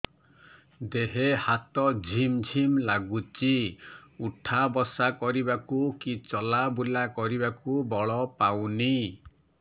ଦେହେ ହାତ ଝିମ୍ ଝିମ୍ ଲାଗୁଚି ଉଠା ବସା କରିବାକୁ କି ଚଲା ବୁଲା କରିବାକୁ ବଳ ପାଉନି